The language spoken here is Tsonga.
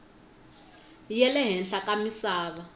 ya le henhla ka misava